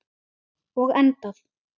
Og endað.